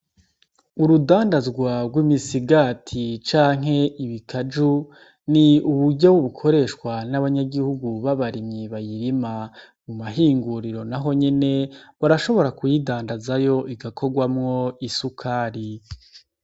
Urudandazwa rw'imisigati canke ibikaju ni uburyo bukoreshwa n'abanyagihugu b'abarimyi bayirima. Mu mahinguriro naho nyene, barashobora kuyidandazayo igakorwamwo isukari.